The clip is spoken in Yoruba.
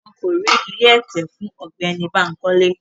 Wọn ko ri ìlé ẹtẹ fun Ọgbẹni Bankole